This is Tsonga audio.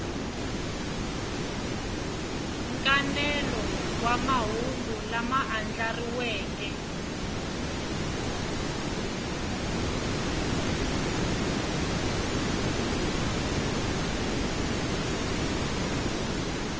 nkanelo wa mahungu lama andlariweke